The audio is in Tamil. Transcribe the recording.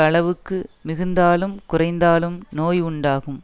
அளவுக்கு மிகுந்தாலும் குறைந்தாலும் நோய் உண்டாகும்